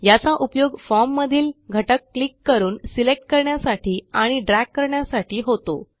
याचा उपयोग Formमधील घटक क्लिक करून सिलेक्ट करण्यासाठी आणि ड्रॅग करण्यासाठी होतो